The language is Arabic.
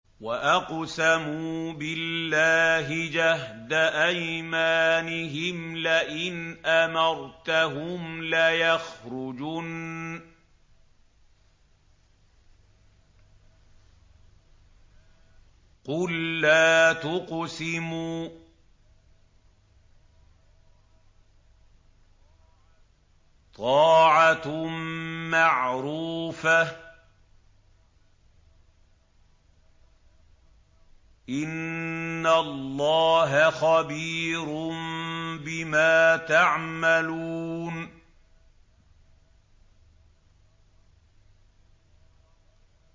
۞ وَأَقْسَمُوا بِاللَّهِ جَهْدَ أَيْمَانِهِمْ لَئِنْ أَمَرْتَهُمْ لَيَخْرُجُنَّ ۖ قُل لَّا تُقْسِمُوا ۖ طَاعَةٌ مَّعْرُوفَةٌ ۚ إِنَّ اللَّهَ خَبِيرٌ بِمَا تَعْمَلُونَ